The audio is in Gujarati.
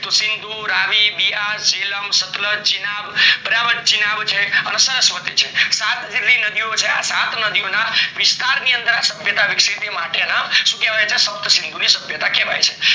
સીન્સ્ધુ, રવિ, બિંદુ, બીઅર, જેલમ, સતલુજ, ચીઈનાબ, બરાબર ચિનાબ છે સરસ્વતી છે સત જેટલી નદી નદીઓ છે, આ સાત નદીઓ ના વિસ્તાર ની અંદર આ સભ્યતા માટે ના સપ્ત સિંધુ ની સભ્યતા કહેવાય છે